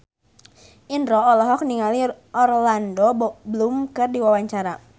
Indro olohok ningali Orlando Bloom keur diwawancara